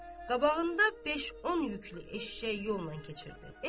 Qabağında beş-on yüklü eşşək yolla keçirdi.